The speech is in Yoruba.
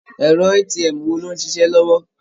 Ẹ̀rọ ATM wo ni ó ń ṣiṣẹ́ lọ́wọ́?